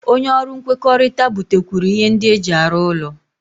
Onye ọrụ nkwekọrịta butekwuru ihe ndị eji arụ ụlọ